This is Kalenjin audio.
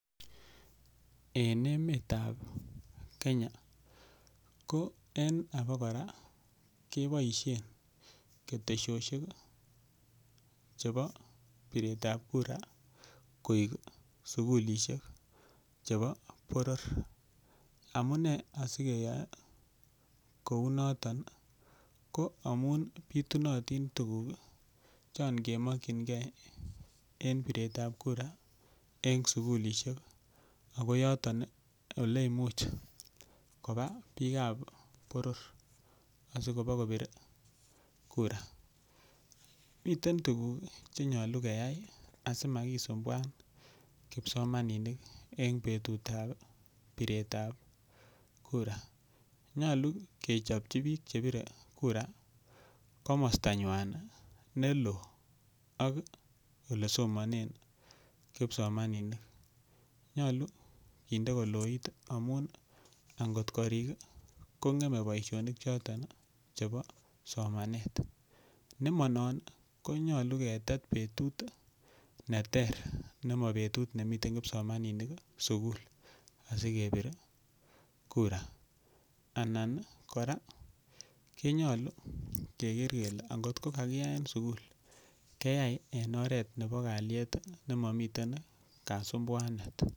En emetab Kenya ko en aba kora keboishen ketesosiek chebo piret ab kura koik sugulisiek chebo boror. Amune asikeyoe kounoto ko amun bitunotin tuguk chon kemokinge en piret ab kura en suglisiek ago yoton ole imuch koba biik ab boror asikobakobir kura . Miten tuguk che nyolu keyai asimakisumbuan kipsomaninik en betut ab piret ab kura nyolu kechopchi biik che pire kura komostanywan ne loo ak ole somanen kipsomaninik. Nyolu kinde ole loo amun ngot koring ko ng'eme bosionik choto chebo somanet. Nema non konyolu ketet betut neter nemobetut nemiten kipsomaninik sugul asikepir kura anan kora kinyolu keger kele angot ko kakiyaen sugul kiyai en oret nebo kalyet nemomiten kasumbuanet.